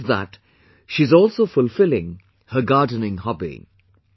On top of that she is also fulfilling her gardening hobby